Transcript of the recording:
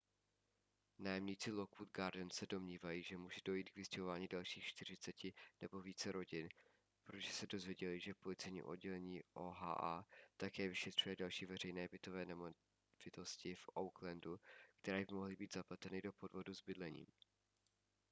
nájemníci lockwood gardens se domnívají že může dojít k vystěhování dalších 40 nebo více rodin protože se dozvěděli že policejní oddělení oha také vyšetřuje další veřejné bytové nemovitosti v oaklandu které by mohly být zapleteny do podvodu s bydlením